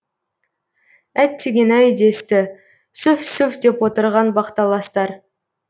әттеген ай десті сүф сүф деп отырған бақталастар